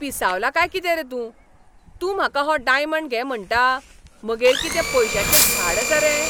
पिसावलां काय कितें रे तूं? तूं म्हाका हो डायमंड घे म्हणटा? म्हगेर कितें पयश्यांचे झाड आसा रे?